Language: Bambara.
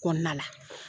Kɔnɔna la